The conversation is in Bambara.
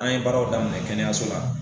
An ye baaraw daminɛ kɛnɛyaso la